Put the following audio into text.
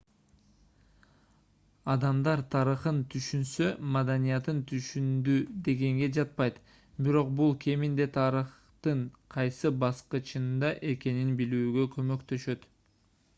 адамдар тарыхын түшүнсө маданиятын түшүндү дегенге жатпайт бирок бул кеминде тарыхтын кайсы баскычында экенин билүүгө көмөктөшөт